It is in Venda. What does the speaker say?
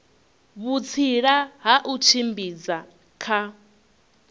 vhutsila ha u tshimbidza kha